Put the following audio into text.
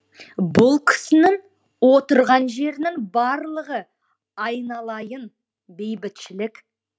бұл кісінің отырған жерінің барлығы айналайын бейбітшілік